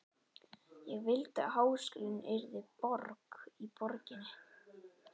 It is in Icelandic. Ég vildi að háskólinn yrði borg í borginni.